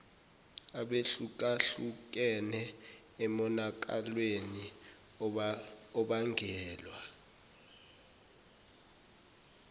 abehlukahlukene emonakalweni obangelwa